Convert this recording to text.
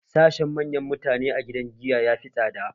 Sashen manyan mutane a gidan giya yafi tsada